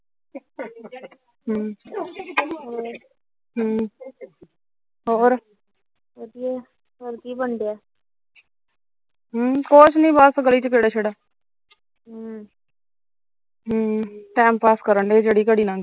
ਹਮ ਕੁਛ ਨੀ ਗਲੀ ਚ ਖਿੜ ਖਿੜ ਹਮ time pass ਕਰਨਡੇ ਜਿਹੜੀ ਘੜੀ ਲੰਘ ਜੇ